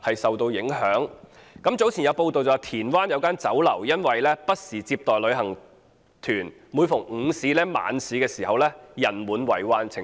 早前有傳媒報道，田灣有一間酒樓因不時接待旅行團，每逢午市、晚市人滿為患。